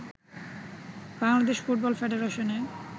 Bangladesh football ফেডারেশনে